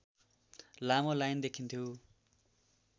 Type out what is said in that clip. लामो लाइन देखिन्थ्यो